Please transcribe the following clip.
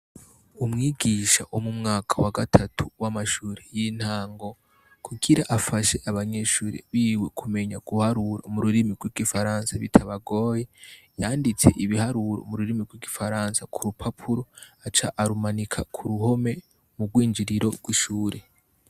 Umwigisha wo mu mwaka wa gatatu w'amashuri y'intango kugira afashe abanyeshuri biwe kumenya guharura mu rurimi rw'igifaransa bitabagoye yanditse ibiharuro mu rurimi rw'igifaransa ku rupapuro aca arumanika ku ruhome mu rwinjiriro rw'ishuri.